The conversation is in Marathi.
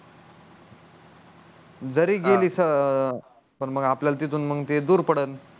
जारी गेली पण मग आपल्याला तिथून मग ते दूर पडल